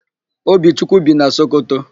Obichukwu bi na Sokoto.